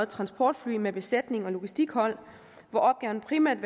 transportfly med besætning og logistikhold hvor opgaven primært